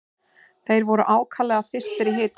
Þeir voru ákaflega þyrstir í hitanum.